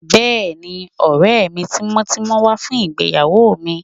Bẹ́ẹ̀ni, ọ̀rẹ́ mi tímọ́tímọ́ wá fún ìgbéyàwó mi